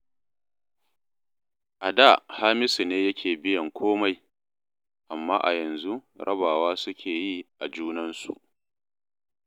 A da Hamisu ne yake biyan komai, amma a yanzu rabawa suke yi a junansu